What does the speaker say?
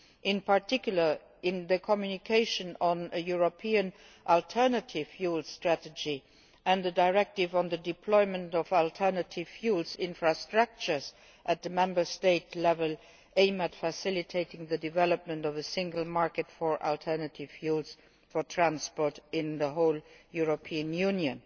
In particular, the communication on a European alternative fuel strategy and the directive on alternative fuels infrastructures at Member State level aim at facilitating the development of the single market for alternative fuels for transport in the whole European Union.